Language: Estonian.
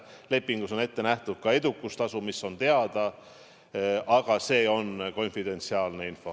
Ja lepingus on ette nähtud ka edukustasu, mis on meile teada, aga see on konfidentsiaalne info.